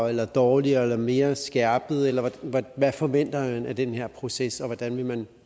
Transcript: eller dårligere eller mere skærpet eller hvad forventer man af den her proces og hvordan vil man